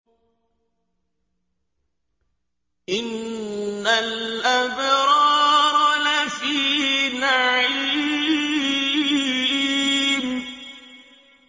إِنَّ الْأَبْرَارَ لَفِي نَعِيمٍ